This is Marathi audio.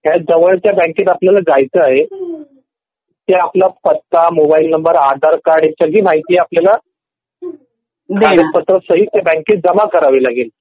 ह्या जवळ च्या बँकेत आपल्याला जायचं आहे त्या तुला पत्ता मोबाईल नंबर आधार कार्ड सगळी माहिती अर्जपत्रसहित ते बँकेत जमा करावी लागेल